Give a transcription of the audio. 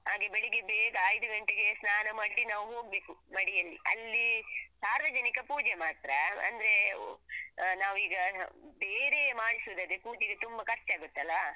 ಹಾಗೆ ಬೆಳಿಗ್ಗೆ ಬೇಗ ಐದು ಗಂಟೆಗೆ ಸ್ನಾನ ಮಾಡಿ ನಾವ್ ಹೋಗ್ಬೇಕು ಮಡಿಯಲ್ಲಿ ಅಲ್ಲಿ ಸಾರ್ವಜನಿಕ ಪೂಜೆ ಮಾತ್ರ ಅಂದ್ರೆ ಹಾ ನಾವೀಗ ಬೇರೆಯೆ ಮಾಡಿಸುವುದಾದ್ರೆ ಪೂಜೆಗೆ ತುಂಬ ಖರ್ಚಾಗುತ್ತಲ್ಲಾ?